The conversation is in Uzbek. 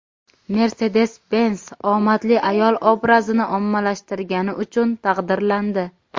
Mercedes-Benz omadli ayol obrazini ommalashtirgani uchun taqdirlandi.